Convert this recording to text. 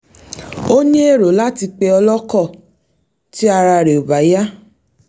ó ní èrò láti pe o̩ló̩kò̩ tí ara rè̩ ò bá yá